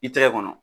I tɛgɛ kɔnɔ